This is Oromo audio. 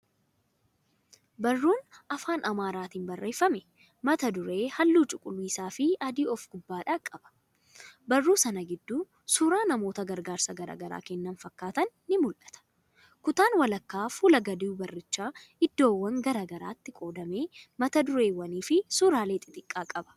1.Barruun Afaan Amaaraatiin barreeffamee, mata duree halluu cuquliisa fi adii of gubbaadhaa qaba. 2.Barruu sana gidduu suura namoota gargaarsa gara garaa kennan fakkaatan ni mul'atu. 3.Kutaan walakkaa fuula gadii barrichaa iddoowwan gara garaatti qoodamee, mata dureewwan fi suuraalee xiqqaa qaba.